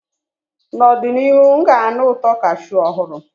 N'ọdịnihu, m ga-anụ ụtọ cashew ọhụrụ.